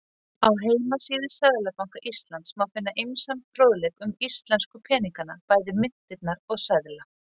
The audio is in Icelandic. Á heimasíðu Seðlabanka Íslands má finna ýmsan fróðleik um íslensku peningana, bæði myntirnar og seðla.